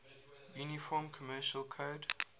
uniform commercial code